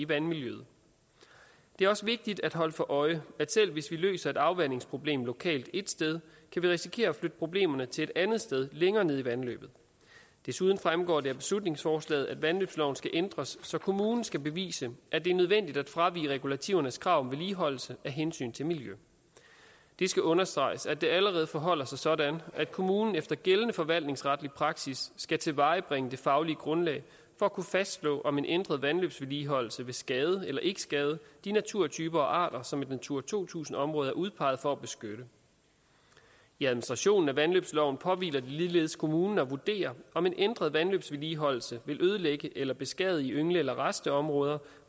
vandmiljøet det er også vigtigt at holde sig for øje at selv hvis vi løser et afvandingsproblem lokalt ét sted kan vi risikere at flytte problemerne til et andet sted længere nede i vandløbet desuden fremgår det af beslutningsforslaget at vandløbsloven skal ændres så kommunen skal bevise at det er nødvendigt at fravige regulativernes krav om vedligeholdelse af hensyn til miljøet det skal understreges at det allerede forholder sig sådan at kommunen efter gældende forvaltningsretlig praksis skal tilvejebringe det faglige grundlag for at kunne fastslå om en ændret vandløbsvedligeholdelse vil skade eller ikke skade de naturtyper og arter som et natura to tusind område er udpeget for at beskytte i administrationen af vandløbsloven påhviler det ligeledes kommunen at vurdere om en ændret vandløbsvedligeholdelse vil ødelægge eller beskadige yngle eller rasteområder